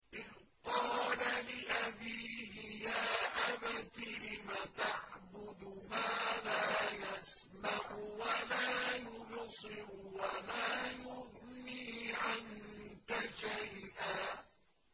إِذْ قَالَ لِأَبِيهِ يَا أَبَتِ لِمَ تَعْبُدُ مَا لَا يَسْمَعُ وَلَا يُبْصِرُ وَلَا يُغْنِي عَنكَ شَيْئًا